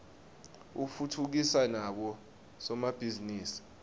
utfutfukisa nabo somabhizinisi